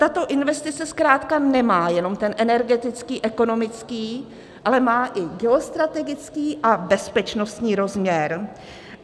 Tato investice zkrátka nemá jenom ten energetický, ekonomický, ale má i geostrategický a bezpečnostní rozměr.